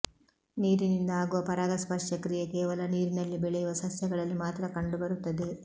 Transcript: ನೀರಿನಿಂದ ಆಗುವ ಪರಾಗಸ್ಪರ್ಶಕ್ರಿಯೆ ಕೇವಲ ನೀರಿನಲ್ಲಿ ಬೆಳೆಯುವ ಸಸ್ಯಗಳಲ್ಲಿ ಮಾತ್ರ ಕಂಡುಬರುತ್ತದೆ